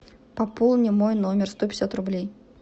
пополни мой номер сто пятьдесят рублей